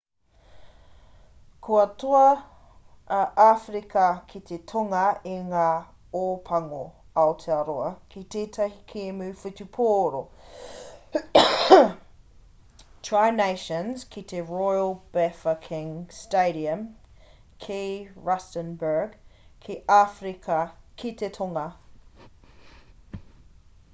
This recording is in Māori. kua toa a āwherika ki te tonga i ngā ōpango aotearoa ki tētahi kēmu whutupōro tri nations ki te royal bafokeng stadium ki rustenburg ki āwherika ki te tonga